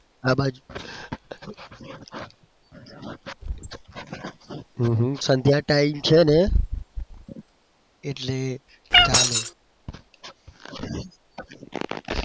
હમ હમ સંધ્યા time છે ને એટલે ચાલે.